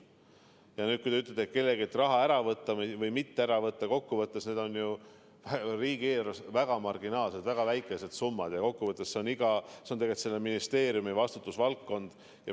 Ja nüüd, kui te ütlete, et tahetakse kelleltki raha ära võtta või mitte ära võtta – kokku võttes need on ju riigieelarves väga marginaalsed, väga väikesed summad ja see on tegelikult selle ministeeriumi vastutusvaldkond.